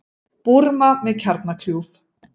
Búrma með kjarnakljúf